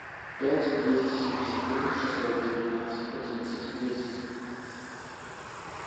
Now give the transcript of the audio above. пять двести семьдесят три шестьсот девятнадцать одиннадцать десять